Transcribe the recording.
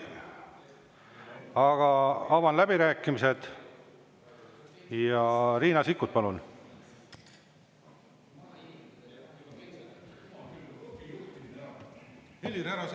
Aga avan läbirääkimised ja Riina Sikkut, palun!